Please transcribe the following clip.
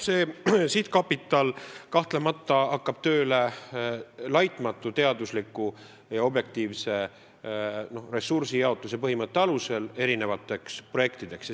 See sihtkapital kahtlemata hakkab tööle, pidades silmas põhimõtet, et ressursse jagatakse eri projektidele, lähtudes objektiivsetest teaduslikest kriteeriumidest.